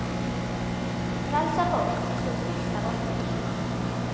Frelsað fólk er svo fullt af orku.